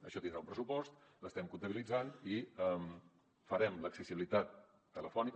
això tindrà un pressupost l’estem comptabilitzant i farem l’accessibilitat telefònica